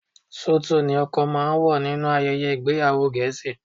Súùtù ni ọkọ máa ń wọ̀ nínú ayẹyẹ ìgbéyàwó Gẹ̀ẹ́sì